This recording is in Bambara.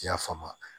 I y'a faamu